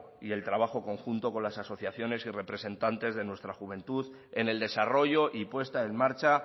y el trabajo conjunto con las asociaciones y representantes de nuestra juventud en el desarrollo y puesta en marcha